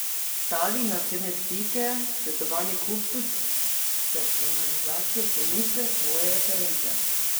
Stavi na osebne stike, svetovanje kupcu, personalizacijo ponudbe, svoje reference.